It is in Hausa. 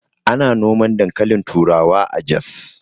Ana noman dankalin turawa a Jos